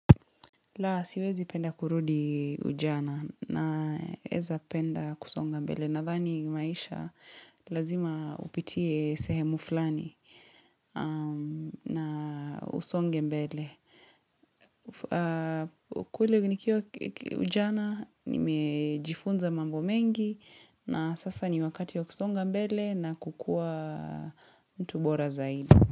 Laa siwezi penda kurudi ujana naeza penda kusonga mbele. Nadhani maisha lazima upitie sehemu fulani na usonge mbele. Kule ujana nimejifunza mambo mengi na sasa ni wakati ya kusonga mbele na kukua mtu bora zaidi.